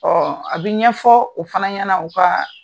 a bi ɲɛfɔ o fana ɲɛna u kaa